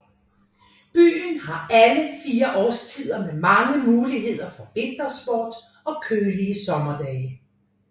Byen har alle fire årstider med mange muligheder for vintersport og kølige sommerdage